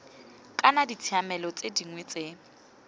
kana ditshiamelo tse dingwe tse